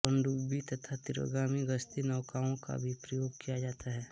पनडुब्बी तथा तीव्रगामी गश्ती नौकाओं का भी प्रयोग किया जाता है